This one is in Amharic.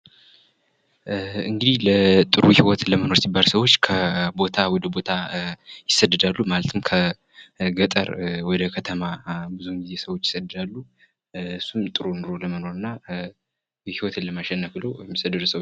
እንግዲህ ጥሩ ህይወት ለመኖር ሲባል ሰዎች ከቦታ ወደ ቦታ ይሰደዳሉ። ከገጠር ወደ ከተማ ብዙ ጊዜ ሰዎች ይሰደዳሉ። እሱም ጥሩ ኑሮ ለመኖር እና ህይወትን ለማሸነፍ ብሎ የሚሰደዱ ሰዎች አሉ።